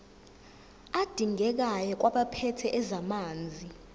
adingekayo kwabaphethe ezamanzi